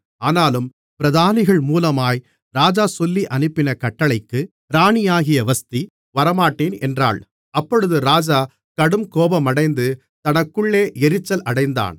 ஆனாலும் பிரதானிகள் மூலமாய் ராஜா சொல்லியனுப்பின கட்டளைக்கு ராணியாகிய வஸ்தி வரமாட்டேன் என்றாள் அப்பொழுது ராஜா கடுங்கோபமடைந்து தனக்குள்ளே எரிச்சல் அடைந்தான்